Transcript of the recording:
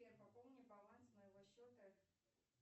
сбер пополни баланс моего счета